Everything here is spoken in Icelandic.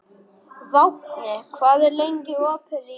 Vápni, hvað er lengi opið í IKEA?